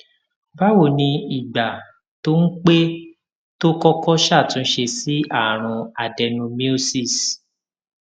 báwo ni ìgbà tó ń pé tó kókó ṣàtúnṣe sí àrùn adenomyosis